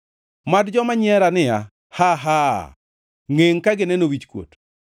Mad joma nyiera niya, “Haa! Haa!” Ngʼengʼ ka gineno wichkuot.